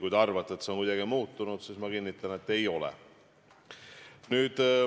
Kui te arvate, et see on kuidagi muutunud, siis ma kinnitan, et ei ole.